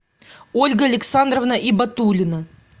ольга александровна ибатуллина